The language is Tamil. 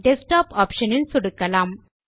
டெஸ்க்டாப் ஆப்ஷன் இல் சொடுக்கலாம்